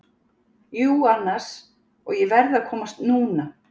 Jú, annars, og ég verð að komast NÚNA!